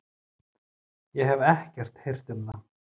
Ég hef ekkert heyrt um það.